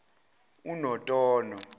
unotono